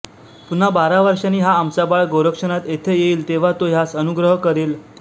पुन्हा बारा वर्षांनी हा आमचा बाळ गोरक्षनाथ येथे येईल तेव्हा तो ह्यास अनुग्रह करील